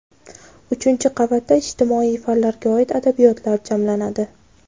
uchinchi qavatda ijtimoiy fanlarga oid adabiyotlar jamlanadi.